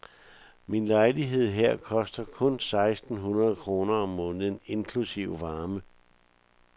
Min lejlighed her koster kun seksten hundrede kroner om måneden inklusive varme.